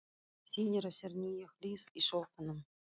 Sýnir á sér nýja hlið í sófanum.